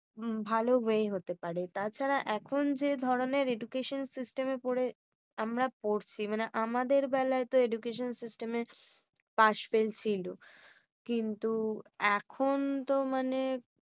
উম ভালো way হতে পারে। তাছাড়া এখন যে ধরোনের education system পড়ে আমরা পড়ছি মানে আমাদের বেলায় তো education system এ pass fail ছিল। কিন্তু এখন তো মানে